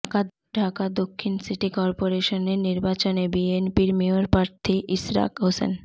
ঢাকা দক্ষিণ সিটি করপোরেশনের নির্বাচনে বিএনপির মেয়র প্রার্থী ইশরাক হোসেন